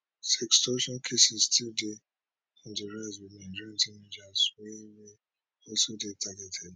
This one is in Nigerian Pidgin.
sextortion cases still dey on di rise wit nigerian teenagers wey wey also dey targeted